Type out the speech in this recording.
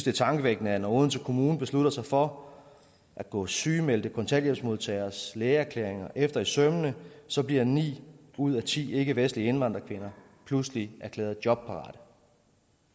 er tankevækkende at når odense kommune beslutter sig for at gå sygemeldte kontanthjælpsmodtageres lægeerklæringer efter i sømmene så bliver ni ud af ti ikkevestlige indvandrerkvinder pludselig erklæret jobparate